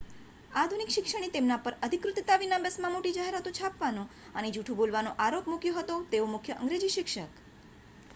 આધુનિક શિક્ષણે તેમના પર અધિકૃતતા વિના બસમાં મોટી જાહેરાતો છાપવાનો અને જૂઠું બોલવાનો આરોપ મૂક્યો હતો કે તેઓ મુખ્ય અંગ્રેજી શિક્ષક